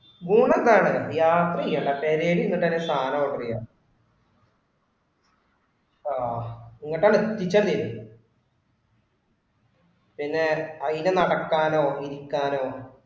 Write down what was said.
ഊണ് എന്താണ്, യാത്ര ചെയ്യേണ്ട പെരേല് ഇരുന്നു തന്നെ സാധനം ഓർഡർ ചെയ്യാം. ആ എങ്ങോട്ടാ എത്തിച്ച മതീല്ലൊ പിന്നെ അതിന്റെ നടക്കാനോ ഇരിക്കാനോ